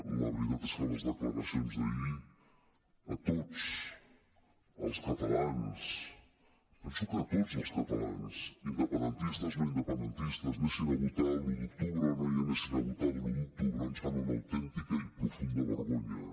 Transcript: la veritat és que les declaracions d’ahir a tots els catalans penso que a tots els catalans independentistes no independentistes anessin a votar l’un d’octubre o no anessin a votar l’un d’octubre ens fan una autèntica i profunda vergonya